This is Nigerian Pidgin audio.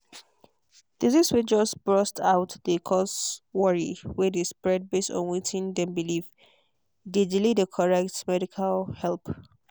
disease way just burst out dey cause worry way dey spread base on wetin dem believe dey delay the correct medical help.